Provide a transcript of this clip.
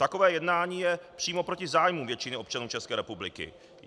Takové jednání je přímo proti zájmu většiny občanů České republiky.